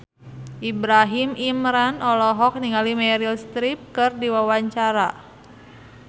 Ibrahim Imran olohok ningali Meryl Streep keur diwawancara